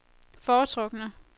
foretrukne